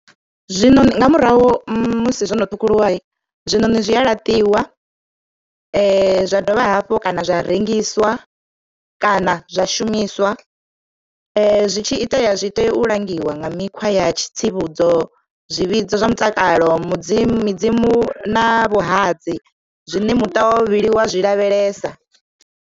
Zwino nga murahu musi zwono ṱhukhuliwa zwiṋoni zwi a laṱiwa zwa dovha hafhu kana zwa rengiswa kana zwa shumiswa zwi tshi itea zwi tea u langiwa nga mikhwa ya tsivhudzo zwivhidzo zwa mutakalo midzimu na vhuhadzi zwine muṱa wa vhuvhili wa zwi lavhelesa.